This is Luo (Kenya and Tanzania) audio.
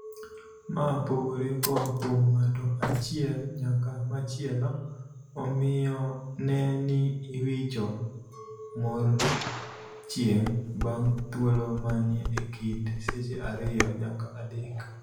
Maa pogore koa kuom ng'ato achiel nyaka machielo, omiyo nee ni iwicho mor chieng' bang' thuolo manie e kind seche ariyo nyaka adek.